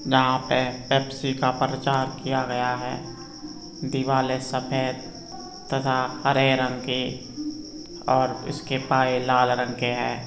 यहां पे पेप्सी का प्रचार किया गया है दीवाले सफ़ेद तथा हरे रंग की और उसके पाए लाल रंग के हैं